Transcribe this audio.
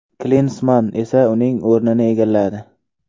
Klinsmann esa uning o‘rnini egalladi.